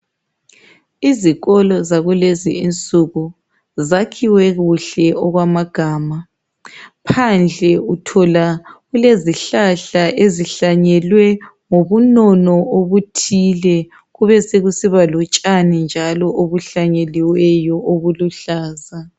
Izikolo zakulezi insuku zakhiwe kuhle okwamagama. Phandle uthola kulezihlahla ezihlangelwe ngobunono obuthile kubesekusiba lotshani njalo obuhlanyeliweyo obuluhlaza